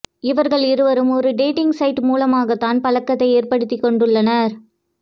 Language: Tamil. இவர்கள் இருவரும் ஒரு டேட்டிங் சைட் மூலமாக தான் பழக்கத்தை ஏற்படுத்திக் கொண்டுள்ளனர்